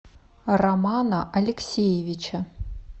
романа алексеевича